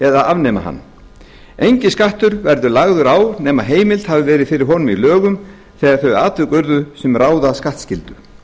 eða afnema hann enginn skattur verður lagður á nema heimild hafi verið fyrir honum í lögum þegar þau atvik urðu sem ráða skattskyldu hér